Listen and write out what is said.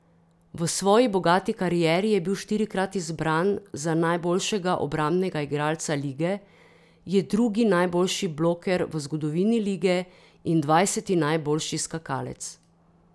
V svoji bogati karieri je bil štirikrat izbran za najboljšega obrambnega igralca lige, je drugi najboljši bloker v zgodovini lige in dvajseti najboljši skakalec.